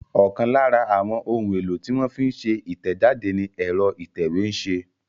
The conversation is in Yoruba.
Ọ̀kan lára àwọn ohun-èlò tí wọ́n fi ń ṣe ìtẹ̀jáde ni ẹ̀rọ ìtẹ̀wé ń ṣe.